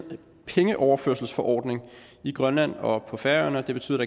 pengeoverførselsforordning i grønland og på færøerne og det betyder